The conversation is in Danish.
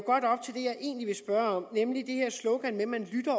egentlig vil spørge om nemlig det her slogan med at man